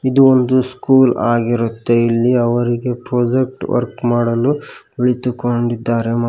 ಇದು ಒಂದು ಸ್ಕೂಲ್ ಆಗಿರುತ್ತೆ ಇಲ್ಲಿ ಅವರಿಗೆ ಪ್ರಾಜೆಕ್ಟ್ ವರ್ಕ್ ಮಾಡಲು ಕುಳಿತುಕೊಂಡಿದ್ದಾರೆ.